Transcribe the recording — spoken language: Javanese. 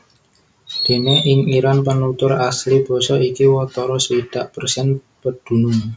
Déné ing Iran penutur asli basa iki watara swidak persen pedunung